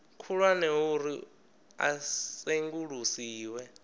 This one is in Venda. khulwane ho uri a sengulusiwe